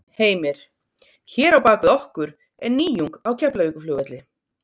Heimir: Hér á bak við okkur er nýjung á Keflavíkurflugvelli?